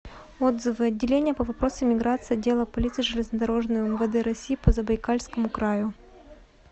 отзывы отделение по вопросам миграции отдела полиции железнодорожный умвд россии по забайкальскому краю